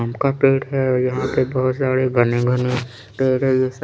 आम का पेड़ है और यहाँ पे बहोत सारे घने घने पेड़ है जैसे--